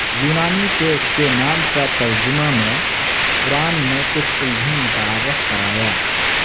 یونانی سے اس کے نام کا ترجمہ میں پران میں کچھ الجھن متعارف کرایا